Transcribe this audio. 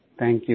thank you